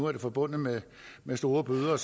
er det forbundet med store bøder